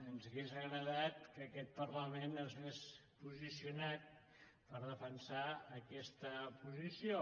ens hauria agradat que aquest parlament s’hagués posicionat per defensar aquesta posició